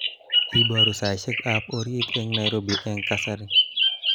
Iborun saishekab orit eng Nairobi eng kasari